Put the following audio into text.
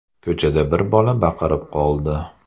Ko‘chada bir bola baqirib qoldi.